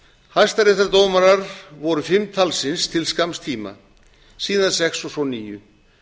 hæstaréttardómarar voru fimm talsins til skamms tíma síðan sex og svo níu